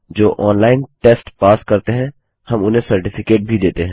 जो online test pass करते हैं हम उन्हें सर्टिफिकेट भी देते हैं